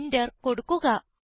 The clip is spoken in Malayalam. Enter കൊടുക്കുക